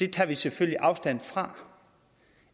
tager selvfølgelig afstand fra